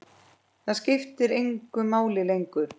Það skiptir engu máli lengur.